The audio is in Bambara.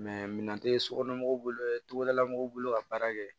minan tɛ sokɔnɔmɔgɔw bololamɔgɔw bolo ka baara kɛ